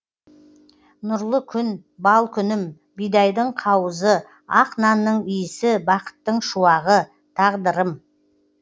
нұрлы күн бал күнім бидайдың қауызы ақ нанның иісі бақыттың шуағы тағдырым